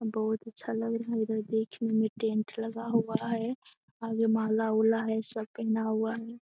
अ बहुत अच्छा लग रहा है इधर देखने में टेंट लगा हुआ है। आगे माला-उला है सब पहना हुआ है।